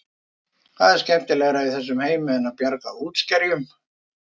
Hvað er skemmtilegra í þessum heimi en það að bjarga útskerjum?